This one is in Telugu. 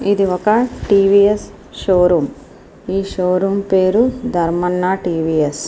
ఇది ఒక టీవీఎస్ షో రూమ్ ఈ షో రూమ్ పేరు ధర్మాన టీవీఎస్ .